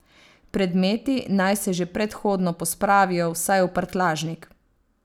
Predmeti naj se že predhodno pospravijo vsaj v prtljažnik.